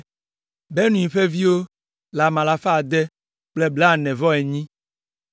Binui ƒe viwo le ame alafa ade kple blaene-vɔ-enyi (648).